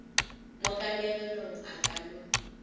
mo kanegelong a ka no